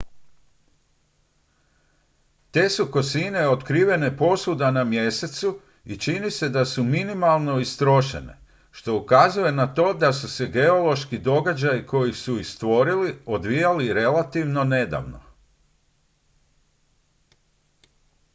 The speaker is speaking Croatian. te su kosine otkrivene posvuda na mjesecu i čini se da su minimalno istrošene što ukazuje na to da su se geološki događaji koji su ih stvorili odvijali relativno nedavno